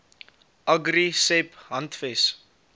agri seb handves